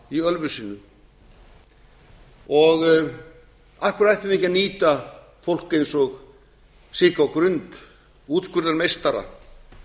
í ölfusi af hverju ættum við ekki að nýta fólk eins og sigga á grund útskurðarmeistara